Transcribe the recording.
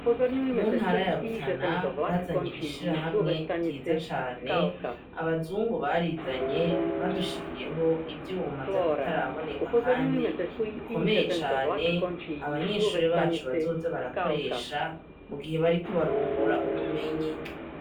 Mu ntara ya Rutana bazanye ishirahamwe ryiza cane, abazungu barizanye badushiriyeho ivyuma vy'akataraboneka kandi bikomeye cane, abanyeshure bacu bazoza mu gihe bariko barungura ubumenyi.